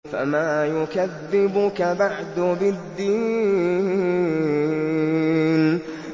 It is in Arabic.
فَمَا يُكَذِّبُكَ بَعْدُ بِالدِّينِ